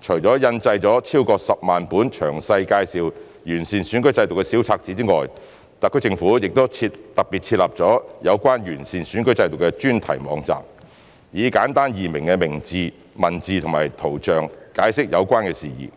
除印製超過10萬本詳細介紹完善選舉制度的小冊子外，政府亦特別設立有關完善選舉制度的專題網站，以簡單易明的文字及圖像解釋有關事宜。